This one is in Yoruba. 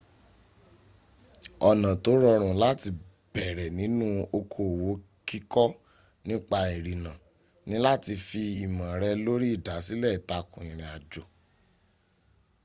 ọ̀nà tó rọrùn láti bẹ̀rẹ̀ nínú okoòwò kíkọ nípa ìrìnnà ni láti fi ìmọ̀ rẹ̀ lórí ìdásílẹ̀ ìtàkùn ìrìnàjò